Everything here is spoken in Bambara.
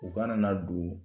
U kana na don